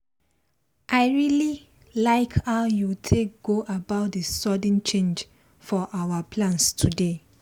i really like how you take go about the sudden change for our plans today.